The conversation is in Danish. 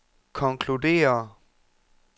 konkluderer